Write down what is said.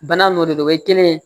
Bana n'o de don o ye kelen ye